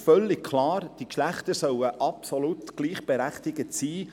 Es ist völlig klar, die Geschlechter sollen absolut gleichberechtigt sein.